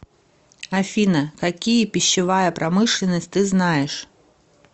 афина какие пищевая промышленность ты знаешь